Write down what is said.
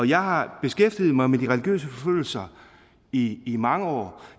jeg har beskæftiget mig med de religiøse forfølgelser i i mange år